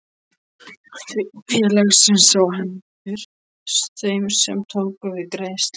félagsins á hendur þeim sem tók við greiðslu.